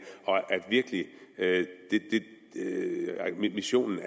og at missionen